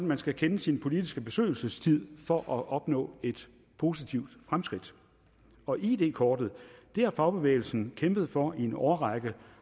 man skal kende sin politiske besøgelsestid for at opnå et positivt fremskridt og id kortet har fagbevægelsen kæmpet for i en årrække